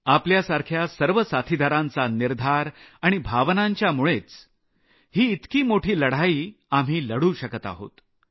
आपल्यासाऱख्या सर्व साथीदारांचा निर्धार आणि भावनांच्यामुळेच ही इतकी मोठी लढाई आम्ही लढू शकत आहोत